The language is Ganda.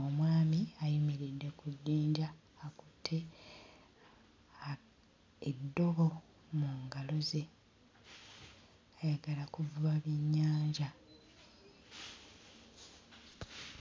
omwami ayimiridde ku jjinja akutte a eddobo mu ngalo ze ayagala kuvuba byennyanja.